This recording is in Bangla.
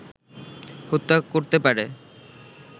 হত্যা করতে পারে